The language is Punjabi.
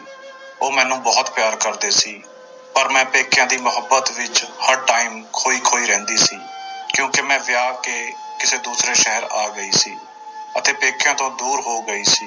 ਉਹ ਮੈਨੂੰ ਬਹੁਤ ਪਿਆਰ ਕਰਦੇ ਸੀ ਪਰ ਮੈਂ ਪੇਕਿਆਂ ਦੀ ਮੁਹੱਬਤ ਵਿੱਚ ਹਰ time ਖੋਈ ਖੋਈ ਰਹਿੰਦੀ ਸੀ ਕਿਉਂਕਿ ਮੈਂ ਵਿਆਹ ਕੇ ਕਿਸੇ ਦੂਸਰੇ ਸ਼ਹਿਰ ਆ ਗਈ ਸੀ ਅਤੇ ਪੇਕਿਆਂ ਤੋਂ ਦੂਰ ਹੋ ਗਈ ਸੀ।